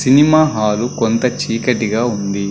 Cinema hall కొంత చీకటిగా ఉంది.